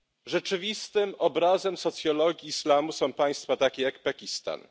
Rzeczywistym obrazem socjologii islamu są państwa takie jak Pakistan.